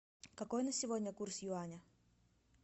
какой на сегодня курс юаня